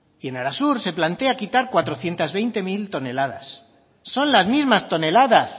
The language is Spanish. y en arasur se plantea quitar cuatrocientos veinte mil toneladas son las mismas toneladas